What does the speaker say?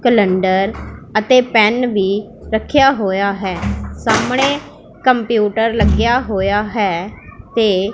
calendar ਅਤੇ pen ਵੀ ਰੱਖਿਆ ਹੋਇਆ ਹੈ ਸਾਹਮਣੇ ਕੰਪਿਊਟਰ ਲੱਗਿਆ ਹੋਇਆ ਹੈ ਤੇ --